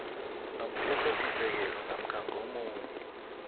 nomthethosisekelo namkha ngomunye